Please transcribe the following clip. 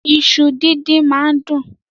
Ìṣu dídín máá ń dùn.